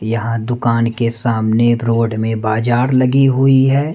यहां दुकान के सामने रोड में बाजार लगी हुईं हैं।